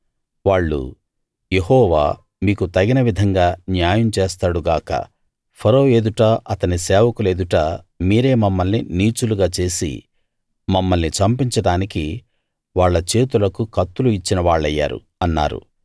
వాళ్ళు యెహోవా మీకు తగిన విధంగా న్యాయం చేస్తాడు గాక ఫరో ఎదుట అతని సేవకుల ఎదుట మీరే మమ్మల్ని నీచులుగా చేసి మమ్మల్ని చంపించడానికి వాళ్ళ చేతులకు కత్తులు ఇచ్చిన వాళ్ళయ్యారు అన్నారు